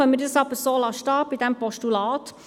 Dann kommen wir auch hier gerade zur Abstimmung.